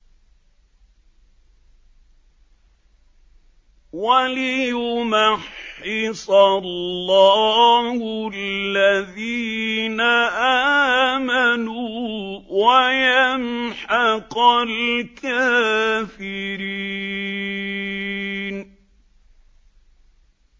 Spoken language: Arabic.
وَلِيُمَحِّصَ اللَّهُ الَّذِينَ آمَنُوا وَيَمْحَقَ الْكَافِرِينَ